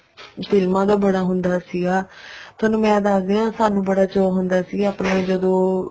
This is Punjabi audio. ਫ਼ਿਲਮਾ ਦਾ ਬੜਾ ਹੁੰਦਾ ਸੀਗਾ ਥੋਨੂੰ ਮੈਂ ਦੱਸਦੀ ਹਾਂ ਸਾਨੂੰ ਬੜਾ ਚਾਅ ਹੁੰਦਾ ਸੀਗਾ ਜਦੋਂ